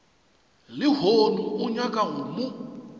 lehono o nyaka go mo